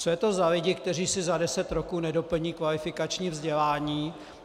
Co je to za lidi, kteří si za deset roků nedoplní kvalifikační vzdělání?